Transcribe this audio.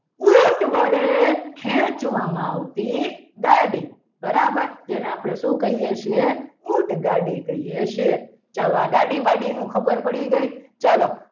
ઊંટ વડે ખેંચવામાં આવતી ગાડી બરાબર જેને આપણે શું કહીએ છીએ ઊંટગાડી કહીએ છીએ ચલો આ ગાડી ની ખબર પડી ગઈ ચલો.